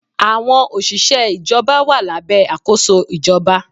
Àwọn òṣìṣẹ́ ìjọba wà lábẹ́ àkóso ìjọba.